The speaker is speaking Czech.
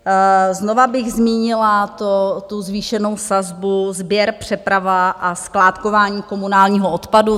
Znovu bych zmínila tu zvýšenou sazbu - sběr, přeprava a skládkování komunálního odpadu.